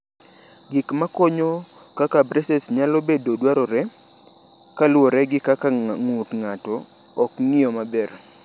Gik ma konyo kaka braces nyalo bedo dwarore kaluwore gi kaka ng’ut ng’ato ok ng’iyo maber.